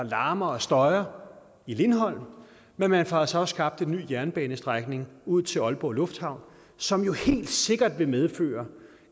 larmer og støjer i lindholm men man får altså også skabt en ny jernbanestrækning ud til aalborg lufthavn som jo helt sikkert vil medføre